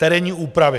Terénní úpravy.